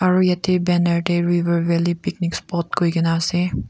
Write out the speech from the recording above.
aru yate banner te river valley picnic spot koi kena ase.